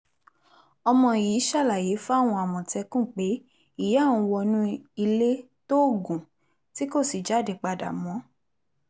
ọmọ yìí ṣàlàyé fáwọn àmọ̀tẹ́kùn pé ìyá òun wọnú ilé tóògùn tí kò sì jáde padà mọ́